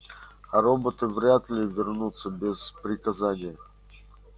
а роботы вряд ли вернутся без приказания